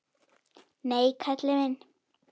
Nei, Kalli minn.